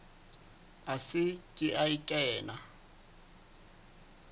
a se ke a kena